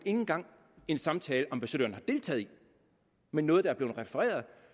engang en samtale ambassadøren har deltaget i men noget der er blevet refereret og